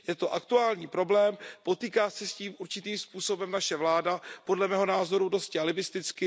Je to aktuální problém, potýká se s tím určitým způsobem naše vláda, podle mého názoru dosti alibisticky.